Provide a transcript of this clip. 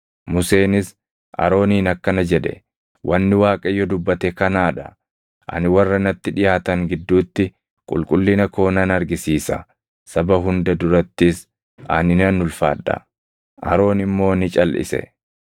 Museenis Arooniin akkana jedhe; “Wanni Waaqayyo dubbate kanaa dha: “ ‘Ani warra natti dhiʼaatan gidduutti, qulqullina koo nan argisiisa; saba hunda durattis ani nan ulfaadha.’ ” Aroon immoo ni calʼise.